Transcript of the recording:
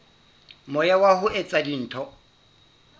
moya wa ho etsa dintho